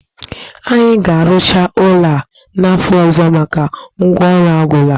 Anyị ga-arụcha ụlo a n'afọ ọzọ maka ngwa ọrụ a gwụla